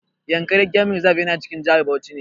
Yankari game reserve yana cikin jihar Bauchi ne.